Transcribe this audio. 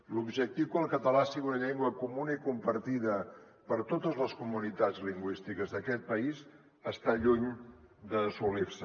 l’objectiu que el català sigui una llengua comuna i compartida per totes les comunitats lingüístiques d’aquest país està lluny d’assolir se